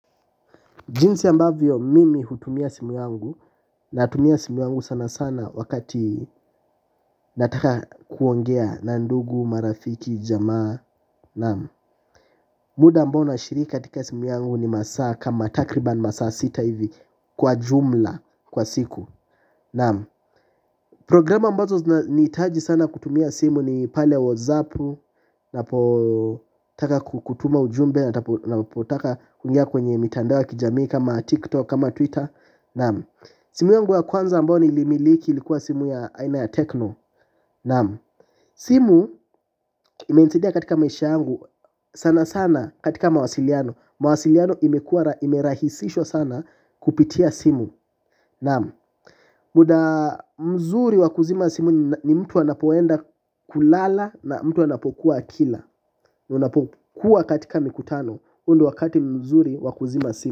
Jinzi ambavyo mimi hutumia simu wangu. Natumia simu yangu sana sana wakati nataka kuongea na ndugu, marafiki, jamaa. Muda ambao nashiriki katika simu yangu ni masaa kama takriban masaa sita hivi kwa jumla, kwa siku. Programa ambazo zinanihitaji sana kutumia simu ni pale whatsapp. Napotaka kutuma ujumbe, napotaka kuingia kwenye mitandao ya kijamii kama tiktok, kama twitter. Naam. Simu yungu ya kwanza ambyo nilimiliki ilikuwa simu ya aina ya tekno. Naam. Simu imenisaidia katika maisha yangu sana sana katika mawasiliano. Mawasiliano imekuwa imerahisishwa sana kupitia simu. Naam. Muda mzuri wa kuzima simu ni mtu anapoenda kulala na mtu anapokuwa akila. Unapokuwa katika mikutano huu ndo wakati mzuri wa kuzima simu.